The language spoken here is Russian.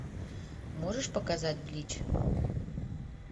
можешь показать блич